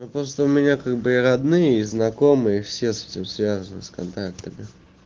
ну просто у меня как бы и родные и знакомые все с этим связаны с контактами